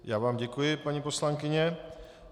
Já vám děkuji, paní poslankyně.